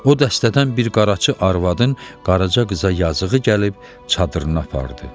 O dəstədən bir qaraçı arvadın Qaraca qıza yazığı gəlib çadırına apardı.